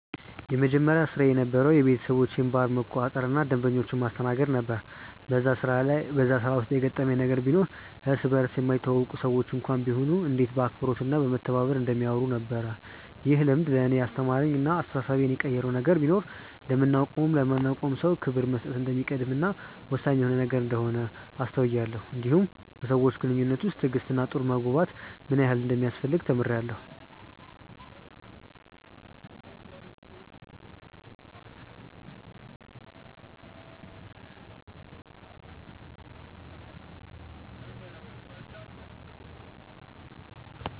የመጀመሪያ ስራዬ የነበረዉ የቤተሰቦቼን ባር መቆጣጠር እና ደንበኞችን ማስተናገድ ነበር በዛ ስራ ውስጥ የገረመኝ ነገር ቢኖር እርስ በርስ የማይተዋወቁ ሰዎች እንኳን ቢሆኑ እንዴት በአክብሮት እና በመተሳሰብ እንደሚያወሩ ነበር። ይህ ልምድ ለእኔ ያስተማረኝ እና አስተሳሰቤን የቀየረው ነገር ቢኖር ለምናቀውም ለማናቀውም ሰው ክብር መስጠት እንደሚቀድም እና ወሳኝ የሆነ ነገር እንደሆነ አስተውያለው እንዲሁም በሰዎች ግንኙነት ውስጥ ትዕግስት እና ጥሩ መግባባት ምን ያህል እንደሚያስፈልግ ተምሬአለሁ።